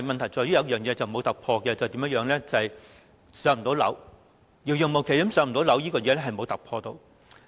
但是，有一件事是沒有突破的，便是"上樓"遙遙無期，這問題至今仍然沒有任何突破。